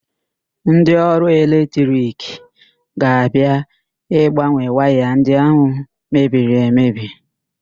Ndị ọrụ eletrik ga-abia ịgbanwe waya ndị ahụ mebiri emebi.